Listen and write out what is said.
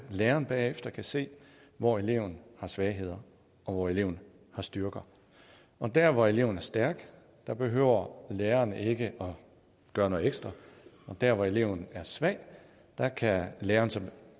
læreren bagefter kan se hvor eleven har svagheder og hvor eleven har styrker og der hvor eleven er stærk behøver læreren ikke at gøre noget ekstra og der hvor eleven er svag kan læreren